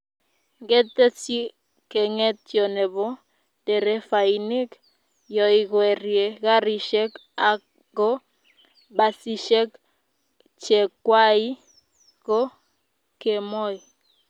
ngetesyi kengetyo nebo nderefainik yoikwerie karishek ago basishek chekwai ko kemoi